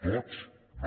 tots no